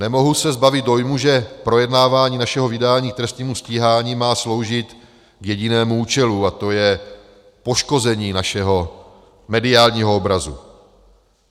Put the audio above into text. Nemohu se zbavit dojmu, že projednávání našeho vydání k trestnímu stíhání má sloužit k jedinému účelu, a to je poškození našeho mediálního obrazu.